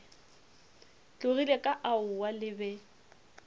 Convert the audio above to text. tlogile ka aowa le be